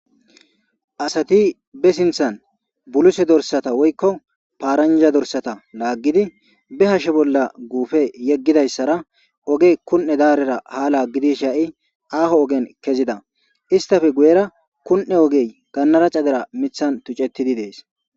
Asati be sinthan buluse dorsata woykko paaranja dorsata laaggidi be hashshe bolla guufe yeggidayssara ogey kun'e daarera ha laaggidi sha'i aaho ogen kezida istafe guyera kun'e ogey gannaraca dera mithan tuccettidi dees